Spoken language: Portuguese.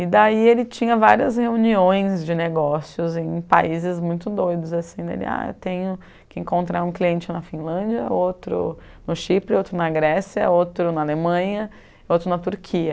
E daí ele tinha várias reuniões de negócios em países muito doidos, assim, dele, ah, eu tenho que encontrar um cliente na Finlândia, outro no Chipre, outro na Grécia, outro na Alemanha, outro na Turquia.